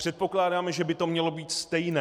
Předpokládáme, že by to mělo být stejné.